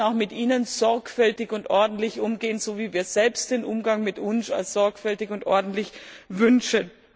Wir sollten auch mit ihnen sorgfältig und ordentlich umgehen, so wie wir selbst den Umgang mit uns als sorgfältig und ordentlich wünschen.